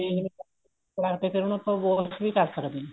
ਕਰਾਕੇ ਫੇਰ ਉਹਨੂੰ ਆਪਾਂ wash ਵੀ ਕਰ ਸਕਦੇ ਆ